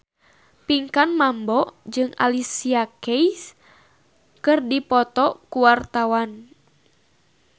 Pinkan Mambo jeung Alicia Keys keur dipoto ku wartawan